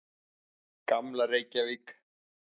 Gamla Reykjavík.